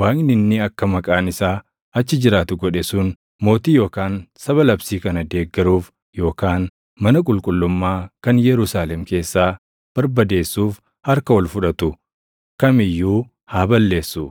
Waaqni inni akka Maqaan isaa achi jiraatu godhe sun mootii yookaan saba labsii kana geeddaruuf yookaan mana qulqullummaa kan Yerusaalem keessaa barbadeessuuf harka ol fudhatu kam iyyuu haa balleessu.